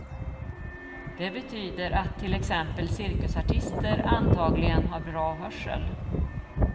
Det betyder att till exempel cirkusartister antagligen har bra hörsel.